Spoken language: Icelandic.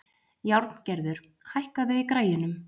Járngerður, hækkaðu í græjunum.